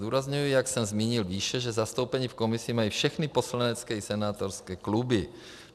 Zdůrazňuji, jak jsem zmínil výše, že zastoupení v komisi mají všechny poslanecké i senátorské kluby.